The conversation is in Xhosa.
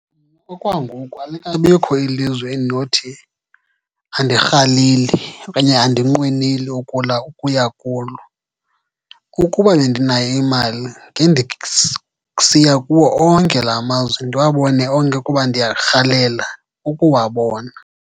Okwangoku alikabikho ilizwe endinothi andirhaleli okanye andinqweneli ukuya kulo. Ukuba bendinayo imali, kuwo onke la mazwe, ndiwabone onke kuba ndiyarhalela ukuwabona.